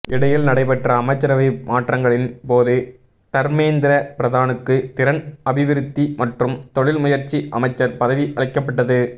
இடையில் நடைபெற்ற அமைச்சரவை மாற்றங்களின் போது தர்மேந்திர பிரதானுக்கு திறன் அபிவிருத்தி மற்றும் தொழில்முயற்சி அமைச்சர் பதவி அளிக்கப்பட்டது